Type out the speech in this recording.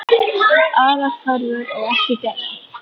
Aðrar kröfur eru ekki gerðar.